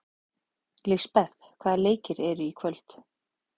Lisbeth, hvaða leikir eru í kvöld?